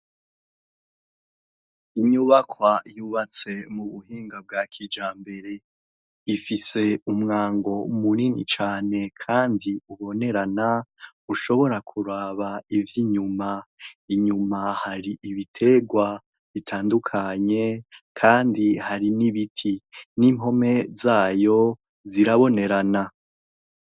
Inyubakwa yubatse mububuhinga bwa kijambere ifise umwango munini cane kandi ubonerana, ushobora kuraba ivyinyuma. Inyuma hari ibiterwa bitandukanye kandi hari n'ibiti, n'impome zayo zirabonerana.